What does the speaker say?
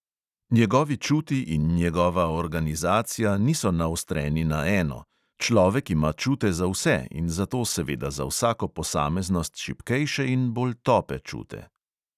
Njegovi čuti in njegova organizacija niso naostreni na eno: človek ima čute za vse in zato seveda za vsako posameznost šibkejše in bolj tope čute.